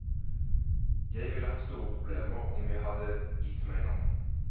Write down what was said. Jeg ville hatt store problemer om jeg hadde gitt meg nå.